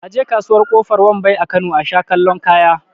A je kasuwar kofar wambai a Kano asha kallon kaya